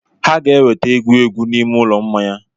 Ha ga-eweta egwu egwu n'ime ụlọ mmanya.